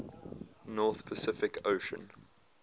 north pacific ocean